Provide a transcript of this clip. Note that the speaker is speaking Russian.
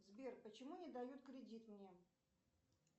сбер почему не дают кредит мне